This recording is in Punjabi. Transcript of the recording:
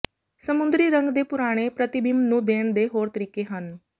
ਸਮੁੰਦਰੀ ਰੰਗ ਦੇ ਪੁਰਾਣੇ ਪ੍ਰਤੀਬਿੰਬ ਨੂੰ ਦੇਣ ਦੇ ਹੋਰ ਤਰੀਕੇ ਹਨ